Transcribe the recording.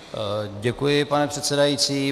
Děkuji, pane předsedající.